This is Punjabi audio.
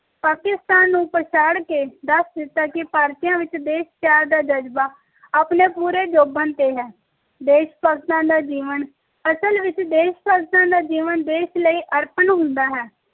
ਪਾਕਿਸਤਾਨ ਨੂੰ ਪਛਾੜ ਕੇ ਦਸ ਦਿੱਤਾ ਕਿ ਭਾਰਤੀ ਆਂ ਵਿਚ ਦੇਸ਼ ਪਿਆਰ ਦਾ ਜਜ਼ਬਾ ਆਪਣੇ ਪੂਰੇ ਜੋਬਨ ਤੇ ਏ ਦੇਸ਼ ਭਗਤਾਂ ਦਾ ਜੀਵਨ ਅਸਲ ਵਿਚ ਦੇਸ਼ ਭਗਤਾਂ ਦਾ ਜੀਵਨ ਦੇਸ਼ ਲਈ ਅਰਪਣ ਹੁੰਦਾ ਹੈ